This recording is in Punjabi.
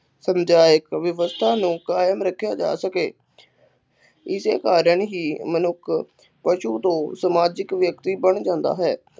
ਪੰਚਾਇਤ ਵਿਵਸਥਾ ਨੂੰ ਕਾਇਮ ਰੱਖਿਆ ਜਾ ਸਕੇ, ਇਸੇ ਕਾਰਨ ਹੀ ਮਨੁੱਖ ਪਸ਼ੂ ਤੋਂ ਸਮਾਜਿਕ ਵਿਅਕਤੀ ਬਣ ਜਾਂਦਾ ਹੈ।